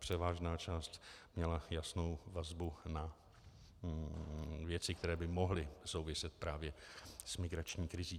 Převážná část měla jasnou vazbu na věci, které by mohly souviset právě s migrační krizí.